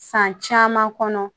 San caman kɔnɔ